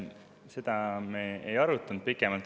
Seda me pikemalt ei arutanud.